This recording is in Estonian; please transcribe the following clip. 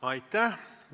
Aitäh!